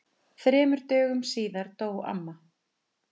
Þremur dögum síðar dó amma.